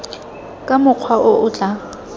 ka mokgwa o o tla